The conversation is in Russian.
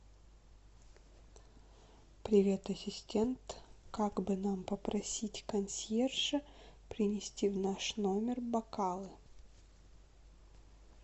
привет ассистент как бы нам попросить консьержа принести в наш номер бокалы